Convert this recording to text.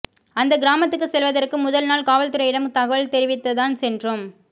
அந்தக் கிராமத்துக்குச் செல்வதற்கு முதல்நாள் காவல்துறையிடம் தகவல் தெரிவித்துதான் சென்றோம்